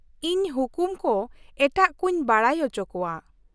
ᱤᱸᱧ ᱦᱩᱠᱩᱢ ᱠᱚ ᱮᱴᱟᱜ ᱠᱚᱧ ᱵᱟᱰᱟᱭ ᱚᱪᱚ ᱠᱚᱣᱟ ᱾